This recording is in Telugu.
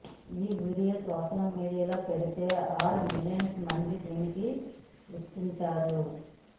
ఈ వీడియో సోషల్ మీడియాలో పెడితే ఆరు మిలియన్ల మంది దీనిని వీక్షించారు